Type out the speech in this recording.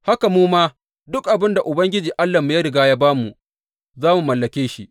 Haka mu ma, duk abin da Ubangiji Allahnmu ya riga ya ba mu, za mu mallake shi.